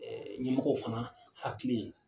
ƐƐ Ɲɛmɔgɔw fana hakili ye